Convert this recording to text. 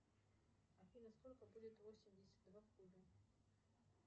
афина сколько будет восемьдесят два в кубе